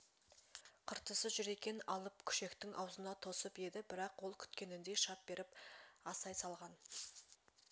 қыртысы жүр екен алып күшектің аузына тосып еді бірақ ол күткеніндей шап беріп асай салған